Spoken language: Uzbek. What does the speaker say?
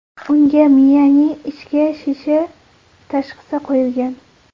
Unga miyaning ichki shishi tashxisi qo‘yilgan.